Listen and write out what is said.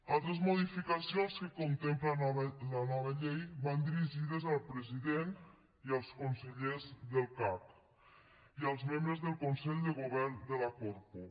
altres modificacions que contempla la nova llei van dirigides al president i als consellers del cac i als membres del consell de govern de la corpo